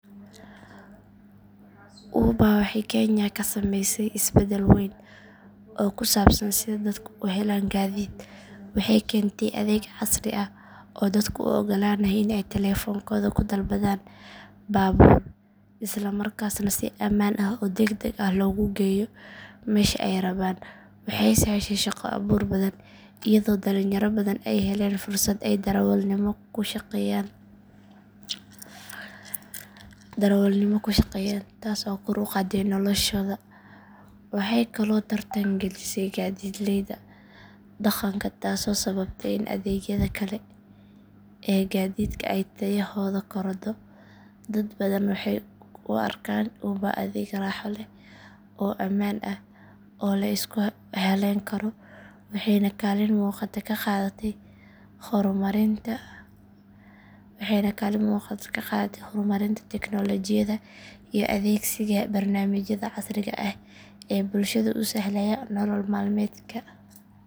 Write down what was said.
Uber waxay kenya ka samaysay isbedel weyn oo ku saabsan sida dadku u helaan gaadiid waxay keentay adeeg casri ah oo dadka u oggolaanaya in ay taleefankooda ku dalbadaan baabuur isla markaasna si ammaan ah oo degdeg ah loogu geeyo meesha ay rabaan waxay sahashay shaqo abuur badan iyadoo dhalinyaro badan ay heleen fursad ay darawalnimo ku shaqeeyaan taas oo kor u qaaday noloshooda waxay kaloo tartan gelisay gaadiidleyda dhaqanka taasoo sababtay in adeegyada kale ee gaadiidka ay tayadooda korodho dad badan waxay u arkaan uber adeeg raaxo leh ammaan ah oo la isku halleyn karo waxayna kaalin muuqata ka qaadatay horumarinta tiknoolajiyadda iyo adeegsiga barnaamijyada casriga ah ee bulshada u sahlaya nolol maalmeedka.